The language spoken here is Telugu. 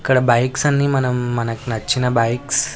ఇక్కడ బైక్స్ అన్ని మనం మనకి నచ్చిన బైక్స్ --